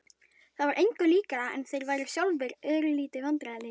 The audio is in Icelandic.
Það var engu líkara en þeir væru sjálfir örlítið vandræðalegir.